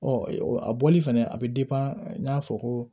Ɔ a bɔli fɛnɛ a bɛ n y'a fɔ ko